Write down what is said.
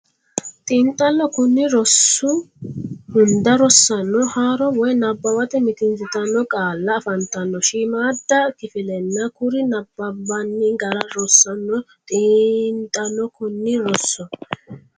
Xiinxallo Konni rosi hunda rosaano haaro woy nabbawate mitiinsitanno qaalla afantanno shiimmaadda kifillanna kuri nabbanbanni gara rossanno Xiinxallo Konni rosi.